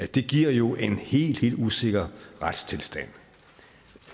det giver jo en helt helt usikker retstilstand